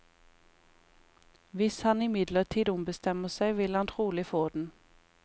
Hvis han imidlertid ombestemmer seg, vil han trolig få den.